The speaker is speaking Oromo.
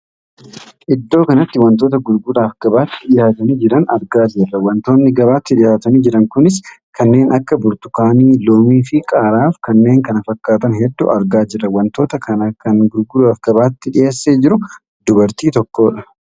Iddoo kanatti wantoota gurguraaf gabaatti dhihaatanii jiran argaa jirra. wantoonni gabaatti dhihaatanii jiran kunis kanneen akka burtukaanii, loomii fi qaaraaf kanneen kana fakkaatan hedduu argaa jirra. wantoota kan kana gurguraaf gabaatti dhiheessee jiru dubartii tokkoodha.